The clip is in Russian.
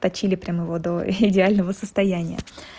точили прям его до идеального состояния